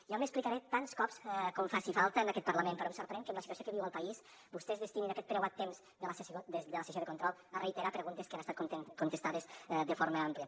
jo m’explicaré tants cops com faci falta en aquest parlament però em sorprèn que amb la situació que viu el país vostès destinin aquest preuat temps de la sessió de control a reiterar preguntes que han estat contestades de forma àmplia